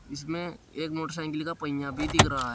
इसमें एक मोटरसाइकिल का पहिया भी दिख रहा है।